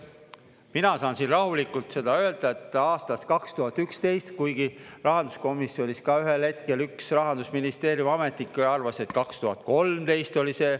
Mina saan siin rahulikult seda öelda, et aastast 2011, kuigi rahanduskomisjonis ka ühel hetkel üks Rahandusministeeriumi ametnik arvas, et 2013 oli see.